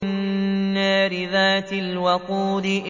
النَّارِ ذَاتِ الْوَقُودِ